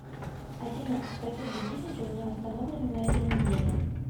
афина какие будильники у меня установлены на этой неделе